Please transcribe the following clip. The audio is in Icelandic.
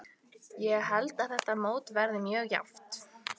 Ég held að þetta mót verði mjög jafnt.